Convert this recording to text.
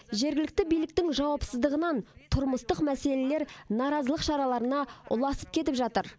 жергілікті биліктің жауапсыздығынан тұрмыстық мәселелер наразылық шараларына ұласып кетіп жатыр